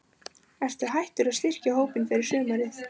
Ertu hættur að styrkja hópinn fyrir sumarið?